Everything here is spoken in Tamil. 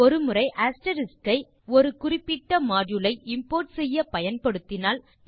ஒரு முறை அஸ்டெரிஸ்க் ஐ ஒரு குறிப்பிட்ட மாடியூல் ஐimport செய்ய பயன்படுத்தினால்